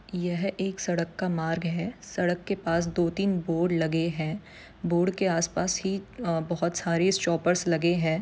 यह एक सड़क का मार्ग है सड़क के पास दो तीन बोर्ड लगे हैं बोर्ड के आसपास ही अ- बहोत सारे स्टॉपर्स लगे हैं।